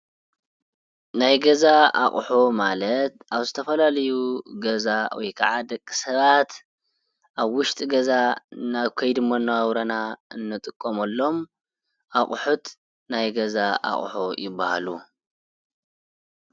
ናዩ ገዛ ኣቁሑት ማለት ኣብ ዝተፈላላዩ ገዛ ወይ ካዓ ደቂ ሰባት ኣብ ውሽጢ ገዛ ኣብ ከይዲ መነባብሮና አንጥቀመሎም ኣቁሑት ናይ ገዛ ኣቁሑት ይበሃሉ።